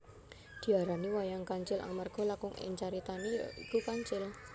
Diarani wayang kancil amarga lakon ing caritane ya iku kancil